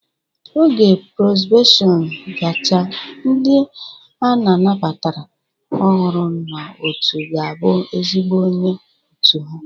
Oge probeshọn gachaa, ndị a nabatara ọhụrụ n'otu ga-abụ ezigbo onye otu ha